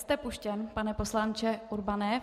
Jste puštěn, pane poslanče Urbane.